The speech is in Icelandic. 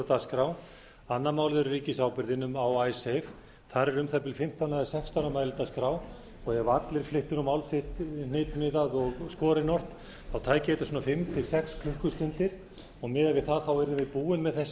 annars málið er ríkisábyrgðin um icesave þar eru um það bil fimmtán eða sextán á mælendaskrá og ef allir flyttu mál sitt hnitmiðað og skorinort tæki þetta svona fimm til sex klukkustundir og miðað við það yrðum við búið með þessa